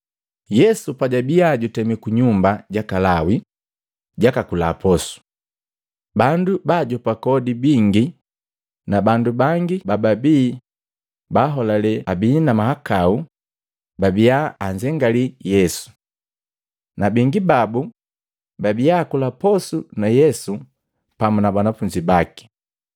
Yesu pajabiya jutemi kunyumba jaka Lawi, jaka kula posu. Bandu baajopa kodi bingi na bandu bangi bababii baholale abii na mahakau babia anzengalii Yesu. Na bingi babu babia akula posu na Yesu pamu na banafunzi baki.